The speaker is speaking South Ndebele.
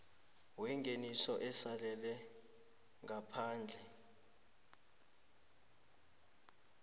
wengeniso asalele ngaphandle